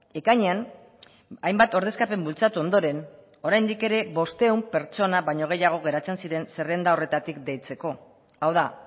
ekainean hainbat ordezkapen bultzatu ondoren oraindik ere bostehun pertsona baino gehiago geratzen ziren zerrenda horretatik deitzeko hau da